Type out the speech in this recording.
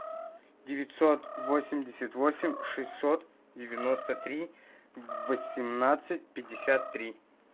девятьсот восемьдесят восемь шестьсот девяносто три восемнадцать пятьдесят три